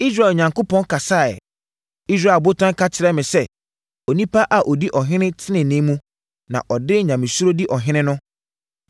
Israel Onyankopɔn kasaeɛ, Israel botan ka kyerɛɛ me sɛ: ‘Onipa a ɔdi ɔhene tenenee mu, na ɔde Nyamesuro di ɔhene no,